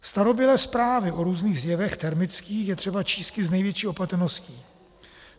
Starobylé zprávy o různých zjevech termických je třeba čísti s největší opatrností.